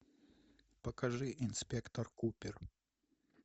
покажи инспектор купер